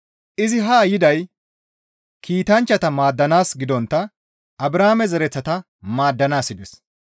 Izi haa yiday kiitanchchata maaddanaas gidontta Abrahaame zereththata maaddanaas yides.